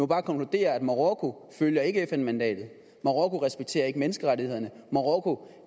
bare konkludere at marokko ikke følger fn mandatet marokko respekterer ikke menneskerettighederne marokko